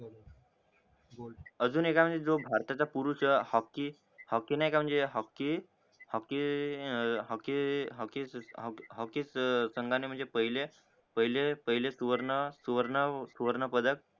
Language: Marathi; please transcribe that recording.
अजून एक आहे म्हणजे जो आताच पुरुष हॉक्की हॉक्की नाय का हॉक्की हॉक्की अं हॉक्की हॉक्की हॉक्की सांगाणे सुवर्ण सुवर्ण पदक